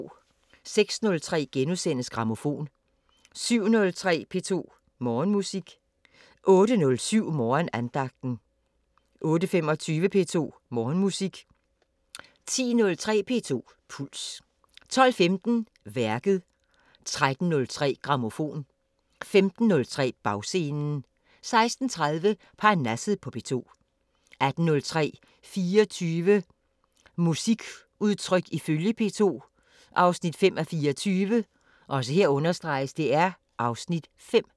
06:03: Grammofon * 07:03: P2 Morgenmusik 08:07: Morgenandagten 08:25: P2 Morgenmusik 10:03: P2 Puls 12:15: Værket 13:03: Grammofon 15:03: Bagscenen 16:30: Parnasset på P2 18:03: 24 musikudtryk ifølge P2 – 5:24 (Afs. 5)